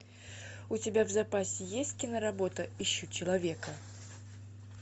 у тебя в запасе есть киноработа ищу человека